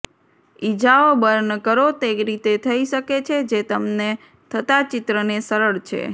ઇજાઓ બર્ન કરો તે રીતે થઈ શકે છે જે તમને થતાં ચિત્રને સરળ છે